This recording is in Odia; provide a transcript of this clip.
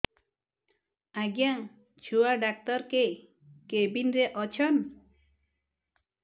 ଆଜ୍ଞା ଛୁଆ ଡାକ୍ତର କେ କେବିନ୍ ରେ ଅଛନ୍